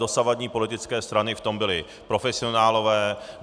Dosavadní politické strany v tom byly profesionálové.